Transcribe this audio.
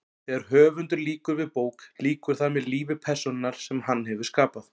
Þegar höfundur lýkur við bók lýkur þar með lífi persónunnar sem hann hefur skapað.